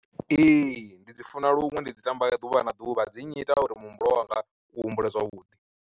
Ee ndi dzi funa luṅwe ndi dzi tamba ḓuvha na ḓuvha dzi nnyita uri muhumbulo wanga u humbule zwavhuḓi.